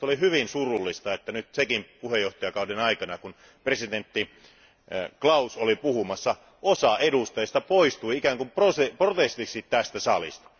Minusta oli hyvin surullista, että nyt Tšekin puheenjohtajakauden aikana, kun presidentti Klaus piti puhetta, osa edustajista poistui ikään kuin protestiksi tästä salista.